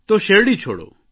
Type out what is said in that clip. તો શેરડી છોડો